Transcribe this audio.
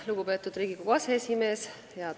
Lugupeetud Riigikogu aseesimees!